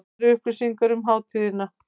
Nánari upplýsingar um hátíðina